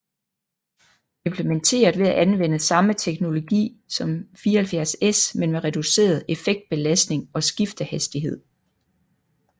Implementeret ved at anvende samme teknologi som 74S men med reduceret effektbelastning og skiftehastighed